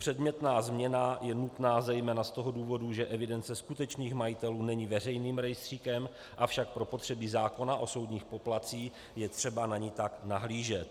Předmětná změna je nutná zejména z toho důvodu, že evidence skutečných majitelů není veřejným rejstříkem, avšak pro potřeby zákona o soudních poplatcích je třeba na ni tak nahlížet.